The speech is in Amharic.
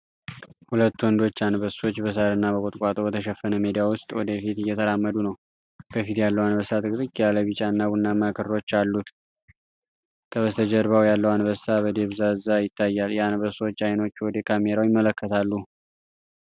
ሁለት ወንዶች አንበሶች በሣርና በቁጥቋጦ በተሸፈነ ሜዳ ውስጥ ወደ ፊት እየተራመዱ ነው። በፊት ያለው አንበሳ ጥቅጥቅ ያለ ቢጫና ቡናማ ክሮች አሉት። ከበስተጀርባው ያለው አንበሳ በድብዘዛ ይታያል። የአንበሶች ዓይኖች ወደ ካሜራው ይመለከታሉ።